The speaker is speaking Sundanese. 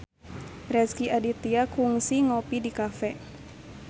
Rezky Aditya kungsi ngopi di cafe